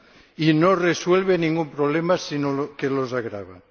y no resuelve ningún problema sino que los agrava.